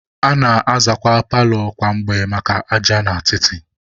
A na-azakwa paalọ kwa mgbe maka aja na atịtị.